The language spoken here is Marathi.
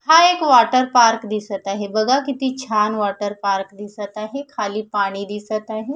हा एक वाटर पार्क दिसत आहे बगा किती छान वाटर पार्क दिसत आहे खाली पाणी दिसत आहे.